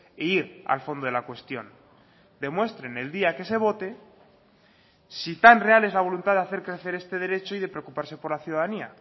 e ir al fondo de la cuestión demuestren el día que se vote si tan real es la voluntad de hacer crecer este derecho y de preocuparse por la ciudadanía